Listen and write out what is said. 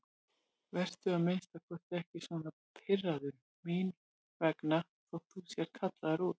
Vertu að minnsta kosti ekki svona pirraður mín vegna þótt þú sért kallaður út.